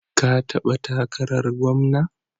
Ka taɓa takarar gwamna?